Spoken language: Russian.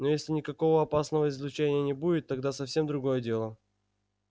но если никакого опасного излучения не будет тогда совсем другое дело